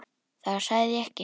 Það sagði ég ekki